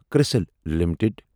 کٔرسِل limited